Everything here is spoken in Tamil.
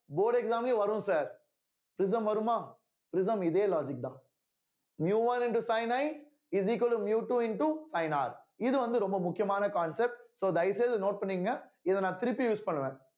board exam லயும் வரும் sir prism வருமா prism இதே logic தான் miu one into sin I is equal to miu two into sine R இது வந்து ரொம்ப முக்கியமான concept so தயவு செய்து note பண்ணிக்கோங்க இத நான் திருப்பி use பண்ணுவேன்